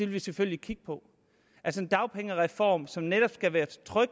vi selvfølgelig kigge på altså en dagpengereform som netop skal være så tryg